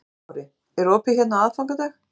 Höskuldur Kári: Er opið hérna á aðfangadag?